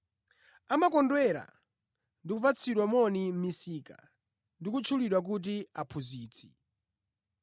Amakondwera ndi kupatsidwa moni mʼmisika ndi kutchulidwa kuti ‘Aphunzitsi.’